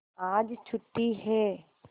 आज छुट्टी है